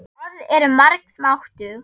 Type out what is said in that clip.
Orð eru margs máttug.